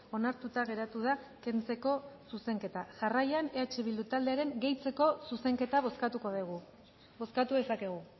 onartuta geratu da kentzeko zuzenketa jarraian eh bildu taldearen gehitzeko zuzenketa bozkatuko dugu bozkatu dezakegu